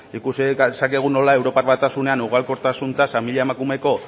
ikusi dezakegu nola europar batasunean ugalkortasun tasa mila emakumeko